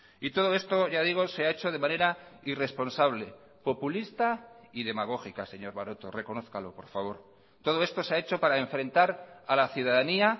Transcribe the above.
y todo esto ya digo se ha hecho de manera irresponsable populista y demagógica señor maroto reconózcalo por favor todo esto se ha hecho para enfrentar a la ciudadanía